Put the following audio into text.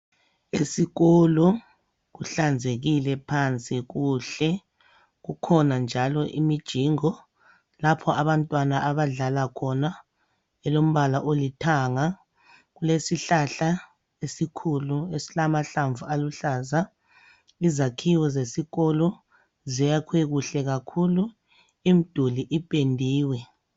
esikolo kuhlanzekile phansi kuhle kukhonja njalo imijingo lapho abantwana abadlala khona elombala olithanga kulesihlahla esikhulu esilamahlamvu aluhlaza izakhiwo zesikolo ziyakhwe kuhle kakhulu imduli ipendiwe